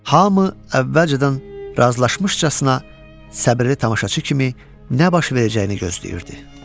Hamı əvvəlcədən razılaşmışcasına səbirli tamaşaçı kimi nə baş verəcəyini gözləyirdi.